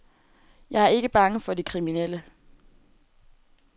Jeg er ikke bange for de kriminelle.